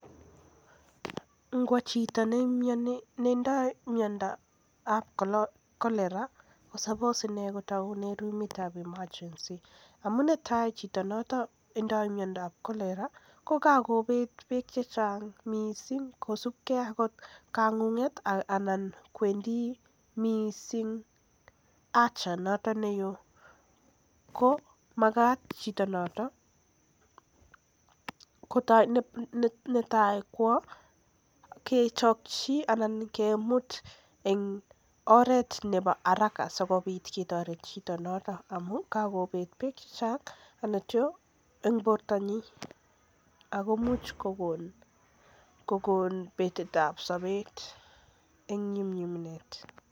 Ngwo chito netindo myondap Cholera komagat inei kotoune rumit ab emergency amu kakobet beek chechang' missing kosupkei ak kang'ung'unet anan ko haja noton neo ko magat chito kwo kechopchi ana kemut en oret nebo haraka amun kokobet beek chechnag' en borto nyin ako imuch kokon betet ab sobet en nyumnyumindo.